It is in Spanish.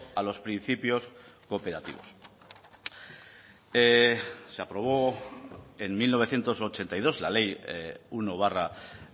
a los principios cooperativos se aprobó en mil novecientos ochenta y dos la ley uno barra